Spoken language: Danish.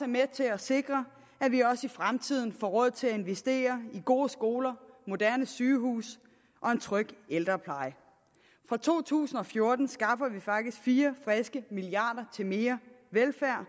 med til at sikre at vi også i fremtiden får råd til at investere i gode skoler moderne sygehuse og en tryg ældrepleje fra to tusind og fjorten skaffer vi faktisk fire friske milliarder til mere velfærd og